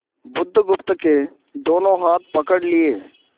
बुधगुप्त के दोनों हाथ पकड़ लिए